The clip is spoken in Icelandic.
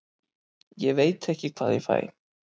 Ég veit ekki hvað ég fæ.